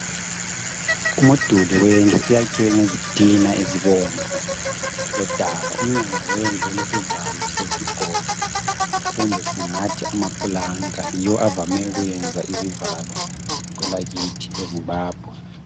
Umduli wendlu wakhiwe ngezitina ezibomvu lodaka, umnyango wendlu ulesivalo sesigodo kumbe singathi amaplanka yiwo avame ukuyenza izivalo kwelakithi e Zimbabwe